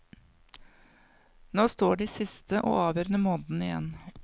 Nå står de siste og avgjørende månedene igjen.